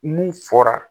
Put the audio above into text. Mun fɔra